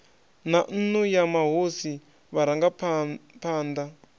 na nnu ya mahosi vharangaphana